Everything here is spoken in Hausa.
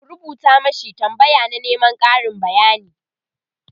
ku rubuta mashi tambaya na Neman Karin bayani!